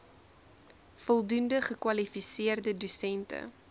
voldoende gekwalifiseerde dosente